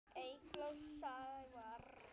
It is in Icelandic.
Eygló og Sævar.